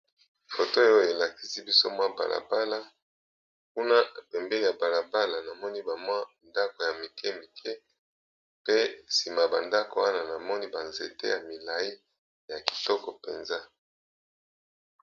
Foto oyo elakisi biso mwa balabala, kuna pembeni ya balabala namoni ba mwa ndako ya mike mike, pe sima ya ba ndako wana namoni ba nzete ya milayi ya kitoko mpenza.